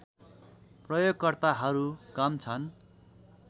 प्रयोगकर्ताहरू कम छन्